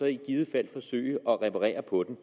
i givet fald forsøge at reparere på den